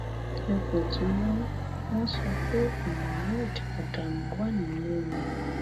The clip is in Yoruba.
ipò tí wọn wọn sọ pé muhammed adamu wà nìyẹn o